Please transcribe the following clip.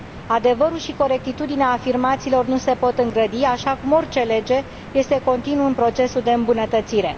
Adevărul și corectitudinea afirmațiilor nu se pot îngrădi, așa cum orice lege este continuu în procesul de îmbunătățire.